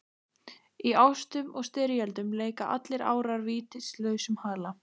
Í ástum og styrjöldum leika allir árar vítis lausum hala.